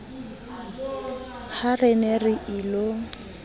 ha re ne re ilo